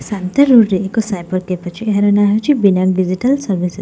ଶାନ୍ତି road ରେ ଏକ cyber cafe ଅଛି ଏହାର ନାଁ ହେଉଛି ବିନାୟକ ଡିଜିଟାଲ ସର୍ଭିସେସ୍ ।